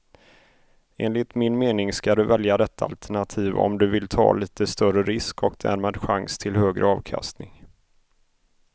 Enligt min mening ska du välja detta alternativ om du vill ta lite större risk och därmed chans till högre avkastning.